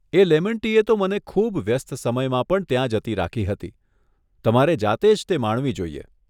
એ lemon tea તો મને ખૂબ વ્યસ્ત સમયમાં પણ ત્યાં જતી રાખી હતી, તમારે જાતે જ તે માણવી જોઈએ.